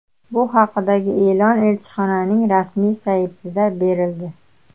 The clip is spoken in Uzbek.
Bu haqdagi e’lon elchixonaning rasmiy saytida berildi .